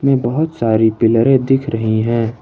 बहुत सारी पिलरे दिख रही है।